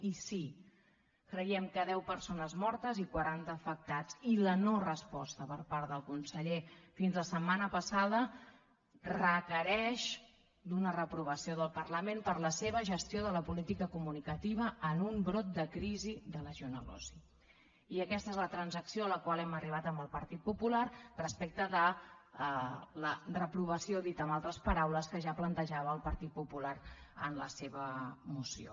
i sí creiem que deu persones mortes i quaran·ta d’afectades i la no·resposta per part del conseller fins la setmana passada requereix una reprovació del parlament per la seva gestió de la política comunica·tiva en un brot de crisi de legioneltransacció a la qual hem arribat amb el partit popular respecte de la reprovació dit amb altres paraules que ja plantejava el partit popular en la seva moció